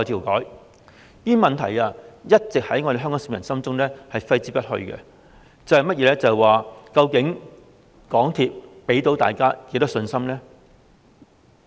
這些問題一直在香港市民心中揮之不去，究竟港鐵公司能給大家多少信心呢？